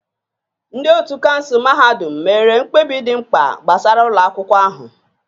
Ndị otu kansụl mahadum mere mkpebi dị mkpa gbasara ụlọ akwụkwọ ahụ